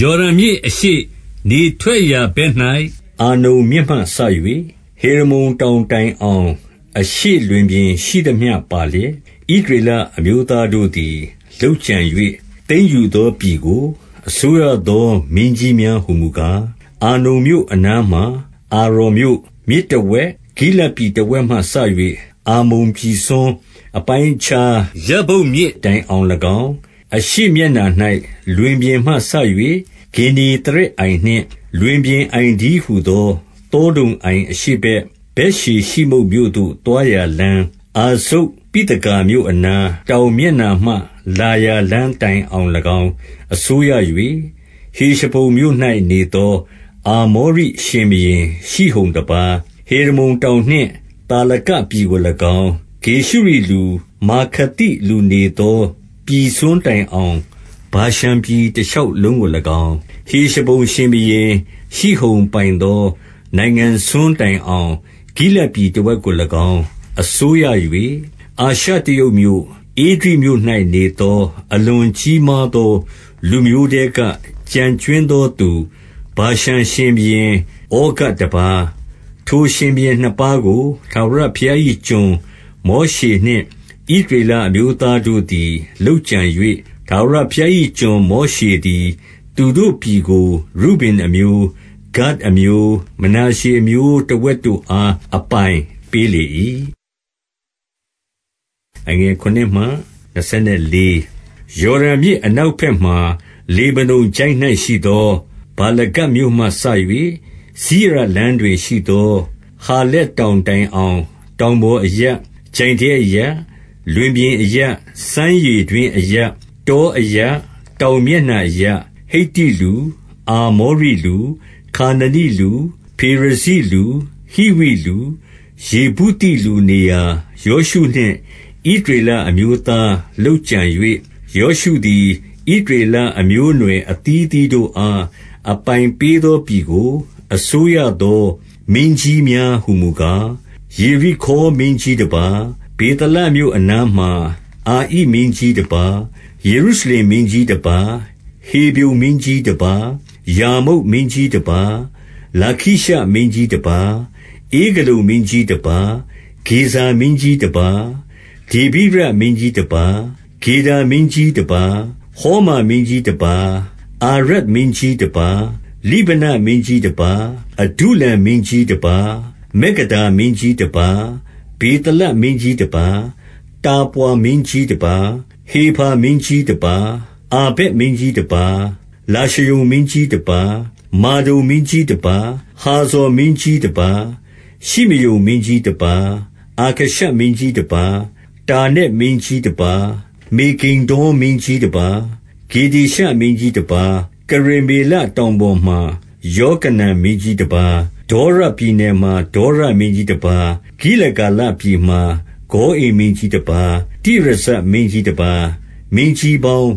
ယော်ဒန်မြစ်အရှေ့ နေထွက်ရာဘက်၌၊ အာနုန် မြစ်မှစ၍ ဟေရမုန်တောင်တိုင်အောင်၊ အရှေ့လွင်ပြင်ရှိ သမျှပါလျက်၊ ဣသရေလအမျိုးသားတို့သည် လုပ်ကြံ၍ သိမ်းယူသောပြည်ကို အစိုးရသောမင်းကြီးများ ဟူမူကား၊ 2 အာနုန်မြို့အနားမှာ အာရော်မြို့၊ မြစ်တဝက်၊ ဂိလဒ်ပြည်တဝက်မှစ၍ အမ္မုန်ပြည်စွန်း အပိုင်းအခြား ယဗ္ဗုတ်မြစ်တိုင်အောင်၎င်း၊ 3 အရှေ့မျက်နှာ၌ လွင်ပြင်မှစ၍ ဂင်္နေသရက် အိုင်နှင့် လွင်ပြင်အိုင်တည်းဟူသော သောဒုံအိုင်အရှေ့ ဘက် ဗက်ယေရှိမုတ်မြို့သို့ သွားရာလမ်း၊ အာဇုတ်ပိသဂါ မြို့အနား၊ တောင်မျက်နှာမှ လာရာလမ်းတိုင်အောင်၎င်း အစိုးရ၍၊ ဟေရှဘုန်မြို့၌နေသော အာမောရိရှင်ဘုရင် ရှိဟုန်တပါး၊ 4 ဟေရမုန်တောင်နှင့် သာလကပြည်ကို၎င်း၊ 5 ဂေရှုရိလူ၊ မာခါသိလူနေသော ပြည်စွန်းတိုင် အောင် ဗာရှန်ပြည်တရှောက်လုံးကို၎င်း၊ ဟေရှဘုန် ရှင်ဘုရင် ရှိဟုန်ပိုင်သော နိုင်ငံစွန်းတိုင်အောင် ဂိလဒ် ပြည်တဝက်ကို၎င်း အစိုးရ၍၊ အာရှတရုတ်မြို့၊ ဧဒြိမြို့၌ နေသော အလွန်ကြီးမားသော လူမျိုးထဲက ကျန်ကြွင်း သောသူ ဗာရှန်ရှင်ဘုရင်ဩဃတပါး၊ 6 ထိုရှင်ဘုရင်နှစ်ပါးကို ထာဝရဘုရား၏ကျွန် မောရှေနှင့် ဣသရေလအမျိုးသားတို့သည် လုပ်ကြံ၍၊ ထာဝရဘုရား၏ကျွန်မောရှေသည် သူတို့ပြည်ကို ရုဗင် အမျိုး၊ ဂဒ်အမျိုး၊ မနာရှေအမျိုးတဝက်တို့အား အပိုင်ပေး လေ၏။ 7 ယော်ဒန်မြစ်အနောက်ဘက်မှာ လေဗနုန်ချိုင့်၌ ရှိသော ဗာလဂဒ်မြို့မှစ၍၊ 8 စိရလမ်းတွင်ရှိသော ဟာလက်တောင်တိုင် အောင် တောင်ပေါ်အရပ်၊ ချိုင့်ထဲအရပ်၊ လွင်ပြင်အရပ်၊ စမ်းရေတွင်းအရပ်၊ တောအရပ်၊ တောင်မျက်နှာအရပ်၊ ဟိတ္တိလူ၊ အာမောရိလူ၊ ခါနနိလူ၊ ဖေရဇိလူ၊ ဟိဝိလူ၊ ယေဗုသိလူနေရာ၊ ယောရှုနှင့်ဣသရေလအမျိုးသား လုပ် ကြံ၍၊ ယောရှုသည် ဣသရေလအမျိုးအနွယ် အသီးသီး တို့အား အပိုင်ပေးသောပြည်ကို အစိုးရသောမင်းကြီးများ ဟူမူကား၊ 9 ယေရိခေါမင်းကြီးတပါး၊ ဗေသလမြို့အနားမှာ၊ အာဣမင်းကြီးတပါး၊ 10 ယေရုရှလင်မင်းကြီးတပါး၊ ဟေဗြုန်မင်းကြီး တပါး၊ 11 ယာမုတ်မင်းကြီးတပါး၊ လာခိရှမင်းကြီးတပါး၊ 12 ဧဂလုန်မင်းကြီးတပါး၊ ဂေဇာမင်းကြီးတပါး၊ 13 ဒေဗိရမင်းကြီးတပါး၊ ဂေဒါမင်းကြီးတပါး၊ 14 ဟောမာမင်းကြီးတပါး၊ အာရဒ်မင်းကြီးတပါး၊ 15 လိဗနမင်းကြီးတပါး၊ အဒုလံမင်းကြီးတပါး၊ 16 မက္ကဒါမင်းကြီးတပါး၊ ဗေသလမင်းကြီးတပါး၊ 17 တာပွါမင်းကြီးတပါး၊ ဟေဖါမင်းကြီးတပါး၊ 18 အာဖက်မင်းကြီးတပါး၊ လာရှရုန်မင်းကြီးတပါး၊ 19 မာဒုန်မင်းကြီးတပါး၊ ဟာဇော်မင်းကြီးတပါး၊ 20 ရှိမရုန်မင်းကြီးတပါး၊ အာခရှပ်မင်းကြီးတပါး၊ 21 တာနက်မင်းကြီးတပါး၊ မေဂိဒ္ဒေါမင်းကြီးတပါး၊ 22 ကေဒေရှမင်းကြီးတပါး၊ ကရမေလတောင်ပေါ် မှာ ယောကနမ်မင်းကြီးတပါး၊ 23 ဒေါရပြည်နယ်မှာ ဒေါရမင်းကြီးတပါး၊ ဂိလဂါ လပြည်မှာ ဂေါအိမ်မင်းကြီးတပါး၊ 24 တိရဇမင်းကြီးတပါး၊ မင်းကြီးပေါင်